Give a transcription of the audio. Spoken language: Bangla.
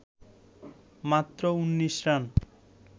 মাত্র ১৯ রান